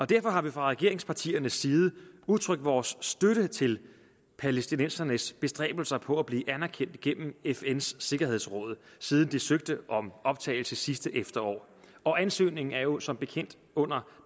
derfor har vi fra regeringspartiernes side udtrykt vores støtte til palæstinensernes bestræbelser på at blive anerkendt igennem fns sikkerhedsråd siden de søgte om optagelse sidste efterår og ansøgningen er jo som bekendt under